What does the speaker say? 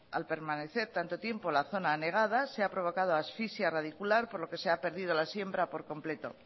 al permanecer tanto tiempo la zona anegada se ha provocado asfixia radicular por lo que se ha perdido la siembra por completo